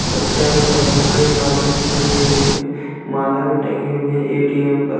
बच्चा अभी खड़ा हुआ है। एक आदमी भी खड़े हुएँ हैं। माला भी टंगे हुए हैं एटीम पर।